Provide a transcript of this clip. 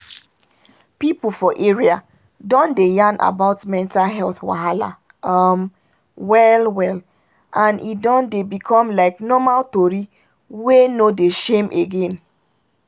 people for area don dey yarn about mental health wahala um well-well and e don dey become like normal tori wey no dey shame again